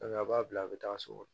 a b'a bila a bɛ taa so